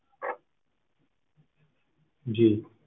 ਜੀ